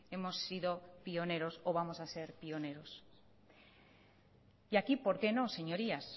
hemos sido pioneros o vamos a ser pioneros y aquí por qué no señorías